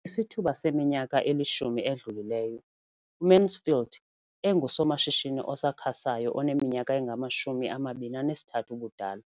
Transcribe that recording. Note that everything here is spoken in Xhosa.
Kwisithuba seminyaka elishumi edlulileyo, uMansfield engusomashishini osakhasayo oneminyaka engama-23 ubudala,